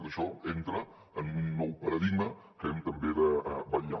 tot això entra en un nou paradigma que hem també de vetllar